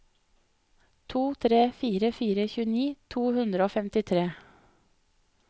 to tre fire fire tjueni to hundre og femtitre